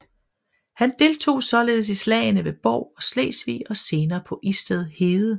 Han deltog således i slagene ved Bov og Slesvig og senere på Isted Hede